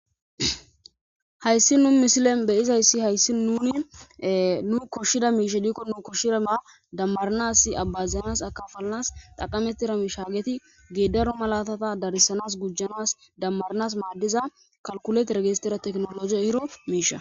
Haysi nu misilen beyzaysi haysi nuni koshiza .ishey diko damaranasi akafalanas xaqametida misha hageti gedaro malatata darsana gujanas qanasanas madiza kalkulatere gizza tekinologey eyida misha.